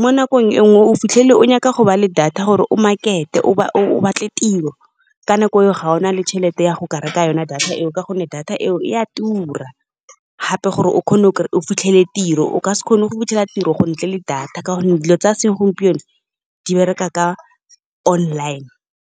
mo nakong e nngwe o fitlhele o nyaka go ba le data gore o market-e o batle tiro. Ka nako eo ga ona le tšhelete ya go ka reka yona data eo, ka gonne data eo e a tura. Gape gore o kgone o fitlhele tiro o ka se kgone go fitlhela tiro go ntle le data, ka gonne dilo tsa segompieno di bereka ka online.